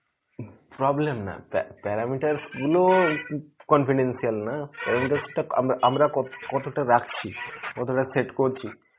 problem না প্যা~ parameter গুলো con~ confidential নয়, আমরা~ আমরা কত~ কতটা রাকছি. কতটা set করছি.